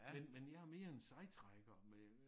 Men men jeg er mere en sejtrækker med